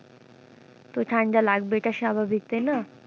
তো ঠাণ্ডা লাগবে এটা স্বাভাবিক তাইনা?